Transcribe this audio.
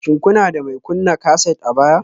Shin kuna da mai kunna kaset a baya?